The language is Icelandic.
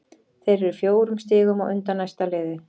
Þeir eru fjórum stigum á undan næsta liði.